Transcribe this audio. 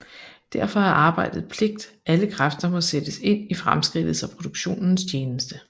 Derfor er arbejde pligt Alle kræfter må sættes ind i fremskridtets og produktionens tjeneste